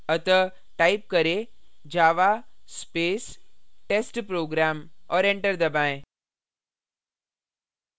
अतः type करें java space testprogram और enter दबाएँ